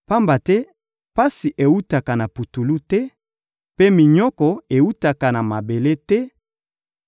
Pamba te pasi ewutaka na putulu te, mpe minyoko ewutaka na mabele te;